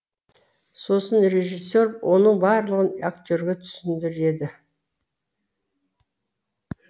сосын режиссер оның барлығын актерге түсіндіреді